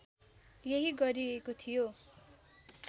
यही गरिएको थियो